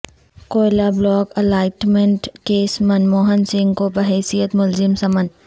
کوئلہ block allotment case Manmohan Singh کو بحیثیت ملزم سمن